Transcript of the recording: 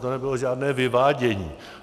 To nebylo žádné vyvádění.